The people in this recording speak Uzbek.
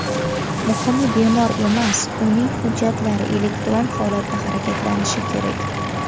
Muhimi bemor emas, uning hujjatlari elektron holatda harakatlanishi kerak.